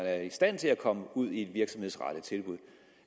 er i stand til at komme ud i et virksomhedsrettet tilbud